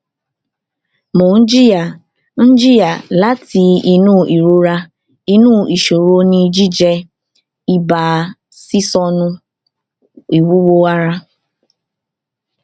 mo n jiya n jiya lati inu irora inu iṣoro ni jijẹ iba sisọnu iwuwo ara